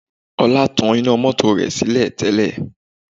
Ọlá tan iná mọ́tò rẹ̀ sílẹ̀ tẹ́lẹ̀